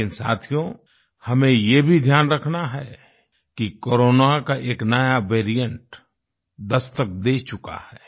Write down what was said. लेकिन साथियो हमें ये भी ध्यान रखना है कि कोरोना का एक नया वेरिएंट दस्तक दे चुका है